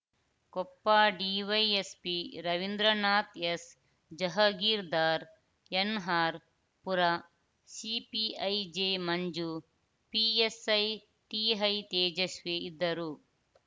Koppa DYSP Ravindranath S Jahagirdar NR Pura CPI J Manju PSI TI Tejaswi ಇದ್ದರು